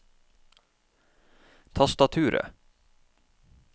tastaturet